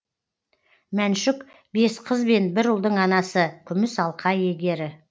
мәншүк бес қыз бен бір ұлдың анасы күміс алқа иегері